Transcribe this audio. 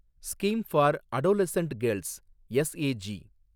scheme for adolescent girls, SAG